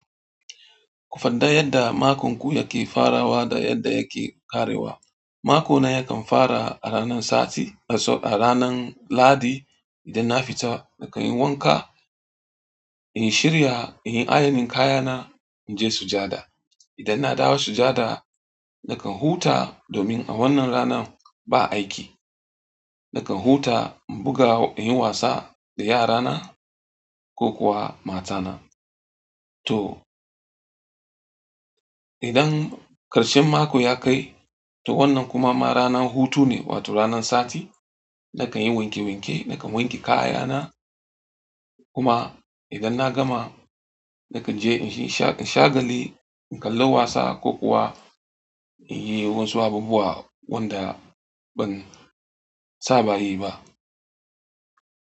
Ku faɗa yadda makonku yake farawa da yadda yake ƙarewa. Makona yakan fara a ranan sati, a ranan ladi. Idan na fita nakan yi wanka, in yi shirya, in yi ayanin kayana, in je sujada. Idan na dawo sujada nakan huta domin a wannan ranan ba aiki. Nakan huta in buga, in yi wasa da yarana ko kuwa matana. To, idan ƙarshen mako ya kai, to wannan kuma ma ranan hutu ne, wato ranan sati. Nakan yi wanke wanke, nakan wanke kayana kuma idan na gama nakan je in sha gali, in kalla wasa ko kuwa in yi wasu abubuwa wanda ban saba yi ba.